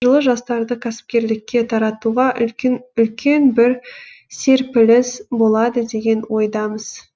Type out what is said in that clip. жылы жастарды кәсіпкерлікке тартуға үлкен бір серпіліс болады деген ойдамыз